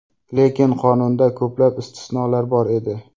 Lekin qonunda ko‘plab istisnolar bor edi.